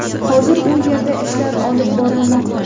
Hozir u yerda ishlar olib borilmoqda.